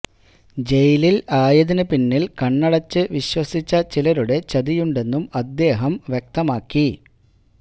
ജയിലില് ആയതിന് പിന്നില് കണ്ണടച്ച് വിശ്വസിച്ച ചിലരുടെ ചതിയുണ്ടെന്നും അദ്ദേഹം വ്യക്തമാത്തി